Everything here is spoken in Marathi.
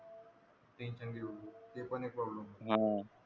ते पण एक problem आ हे